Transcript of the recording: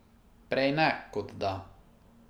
Prej ne kot da.